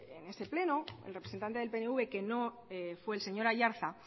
en ese pleno el representante del pnv que no fue el señor aiartza